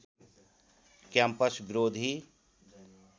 campus विरोधी